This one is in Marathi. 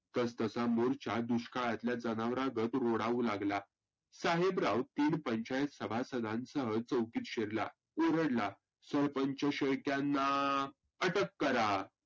तस तसा मोर्चा दुष्काळातल्या जनावरागत रोडावू लागला. साहेबराव तीन पंचायत सभासदांसह चौकीत शिरला, ओरडला सरपंच शेळक्यांना अटक करा.